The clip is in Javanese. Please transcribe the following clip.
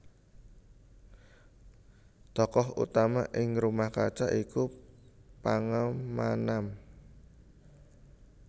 Tokoh utama ing Rumah Kaca iku Pangemanann